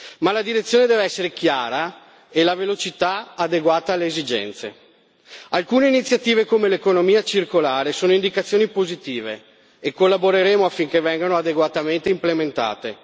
Ma la direzione deve essere chiara e la velocità adeguata alle esigenze alcune iniziative come l'economia circolare sono indicazioni positive e collaboreremo affinché vengano adeguatamente implementate.